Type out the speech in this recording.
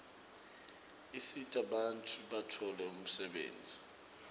usita bantfu batfole umsebenti